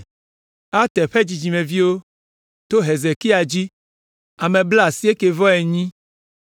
Ater ƒe dzidzimeviwo, to Hezekia dzi, ame blaasiekɛ-vɔ-enyi (98).